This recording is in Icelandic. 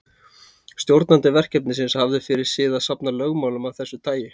Stjórnandi verkefnisins hafði fyrir sið að safna lögmálum af þessu tagi.